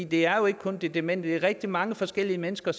det er jo ikke kun de demente der er rigtig mange forskellige mennesker